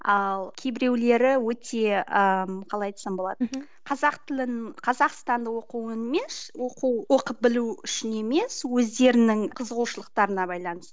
ал кейбіреулері өте ыыы қалай айтсам болады мхм қазақ тілін қазақстанды оқу оқу оқып білу үшін емес өздерінің қызығушылылықтарына байланысты